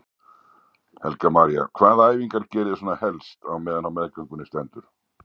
Helga María: Hvaða æfingar geriði svona helst á meðan á meðgöngunni stendur?